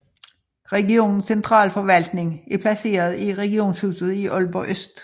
Regionens centralforvaltning er placeret i Regionshuset i Aalborg Øst